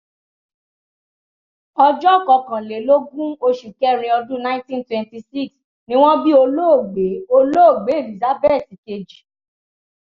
ọjọ́ kọkànlélógún oṣù kẹrin ọdún nineteen twenty six ni wọ́n bí olóògbé olóògbé elizabeth kejì